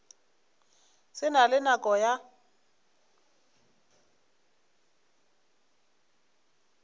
se na le nako ya